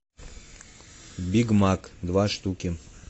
биг мак два штуки